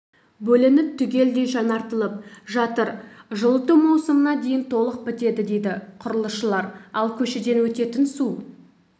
бөлініп түгелдей жаңартылып жатыр жылыту маусымына дейін толық бітеді дейді құрылысшылар ал көшеден өтетін су